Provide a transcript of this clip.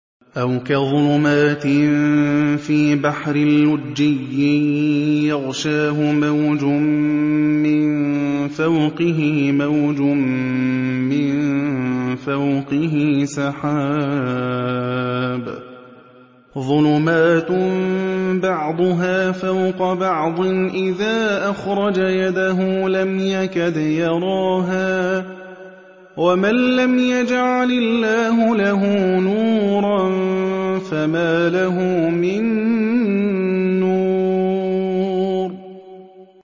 أَوْ كَظُلُمَاتٍ فِي بَحْرٍ لُّجِّيٍّ يَغْشَاهُ مَوْجٌ مِّن فَوْقِهِ مَوْجٌ مِّن فَوْقِهِ سَحَابٌ ۚ ظُلُمَاتٌ بَعْضُهَا فَوْقَ بَعْضٍ إِذَا أَخْرَجَ يَدَهُ لَمْ يَكَدْ يَرَاهَا ۗ وَمَن لَّمْ يَجْعَلِ اللَّهُ لَهُ نُورًا فَمَا لَهُ مِن نُّورٍ